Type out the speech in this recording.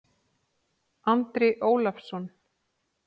Andri Ólafsson